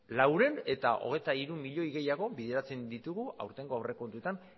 laurehun eta hogeita hiru milioi gehiago bideratzen ditugu aurtengo aurrekontuetan